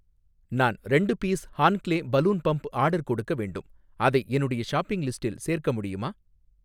நான் ரெண்டு பீஸ் ஹான்க்லே பலூன் பம்ப் ஆர்டர் கொடுக்க வேண்டும், அதை என்னுடைய ஷாப்பிங் லிஸ்டில் சேர்க்க முடியுமா?